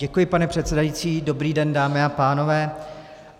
Děkuji, pane předsedající, dobrý den, dámy a pánové.